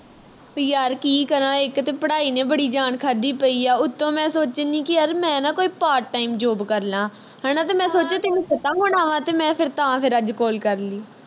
ਉਹ ਯਾਰ ਕੀ ਕਰਾ ਇਕ ਤੇ ਪੜਾਈ ਨੇ ਬੜੀ ਜਾਣ ਖਾਂਦੀ ਪਈ ਐ ਉਤੋਂ ਮੈਂ ਸੋਚਣ ਦੀ ਕੀ ਯਾਰ ਮੈਂ ਨਾ ਕੋਈ part time job ਕਰਲਾ ਹਣਾ ਤੇ ਮੈਂ ਸੋਚਿਆ ਤੈਨੂੰ ਪਤਾ ਹੋਣਾ ਵਾਂ ਤੇ ਮੈਂ ਫਿਰ ਤਾਂ ਫਿਰ ਅੱਜ call ਕਰਲੀ